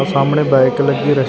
ਸਾਹਮਣੇ ਬਾਈਕ ਲੱਗੀ ਰੇ --